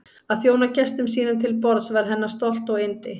Að þjóna gestum sínum til borðs var hennar stolt og yndi.